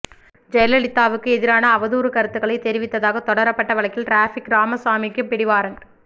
ஜெயலலிதாவுக்கு எதிரான அவதூறு கருத்துக்களை தெரிவித்ததாக தொடரப்பட்ட வழக்கில் டிராபிக் ராமசாமிக்கு பிடிவாரண்ட்